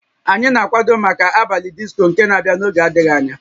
Anyị na-akwado maka abalị disco nke na-abịa n'oge adịghị anya